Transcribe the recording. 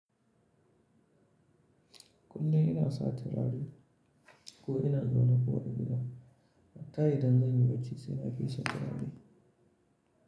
Kulkum ina sata raɗi ko ina zona fure gida, matayi dangani wacce sana'a fi shakka daɗi?